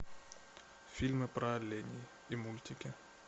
фильмы про оленей и мультики